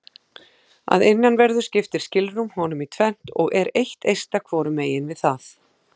Að innanverðu skiptir skilrúm honum í tvennt og er eitt eista hvorum megin við það.